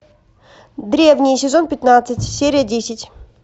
древние сезон пятнадцать серия десять